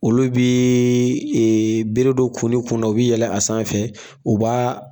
Olu bɛɛɛ beredon kun ni kun na, o bɛ yɛlɛ a sanfɛ u b'a